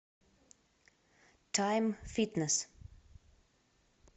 тайм фитнес